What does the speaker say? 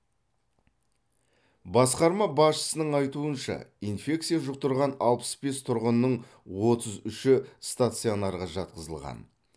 басқарма басшысының айтуынша инфекция жұқтырған алпыс бес тұрғынның отыз үші стационарға жатқызылған